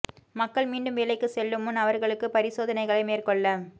மக்கள் மீண்டும் வேலைக்கு செல்லும் முன் அவர்களுக்கு பரி சோதனைகளை மேற்கொள்ள